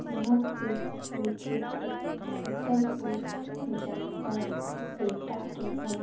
यहाँ पे कोई क्षेत्र शीतलपुर जनपद एटा के हैं।